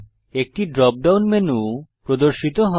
একটি drop down menu প্রদর্শিত হয়